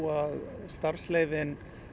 að starfsleyfin